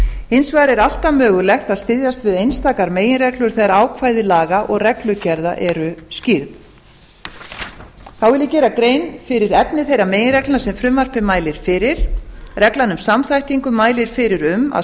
hins vegar er alltaf mögulegt að styðjast við einstakar meginreglur þegar ákvæði laga og reglugerða eru skýrð þá vil ég gera grein fyrir efni þeirra meginreglna sem frumvarpið mælir fyrir reglan um samþættingu mælir fyrir um að